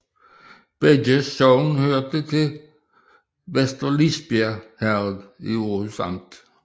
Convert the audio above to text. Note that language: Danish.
Begge sogne hørte til Vester Lisbjerg Herred i Aarhus Amt